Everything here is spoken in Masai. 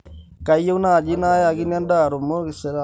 kayieu naaji naayakini endaa erumu nairagita tena hoteli inyi